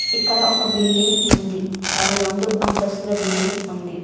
ఇక్కడ ఒక బిల్డింగ్ ఉంది అది రెండు అంతస్తుల బిల్డింగ్ ఉంది.